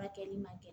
Furakɛli man kɛ